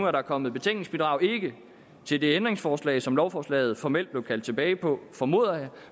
er kommet betænkningsbidrag ikke til det ændringsforslag som lovforslaget formelt blev kaldt tilbage på formoder jeg